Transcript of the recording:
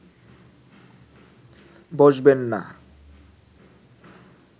বসবেন না